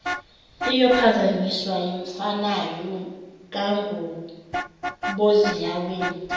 iyophazanyiswa yimfanayo kanguboziyeweni